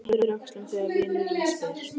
Hann ypptir öxlum þegar vinurinn spyr.